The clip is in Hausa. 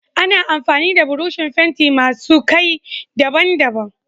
Ana amfani da burushin fenti masu Kai daban daban